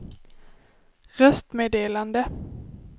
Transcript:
röstmeddelande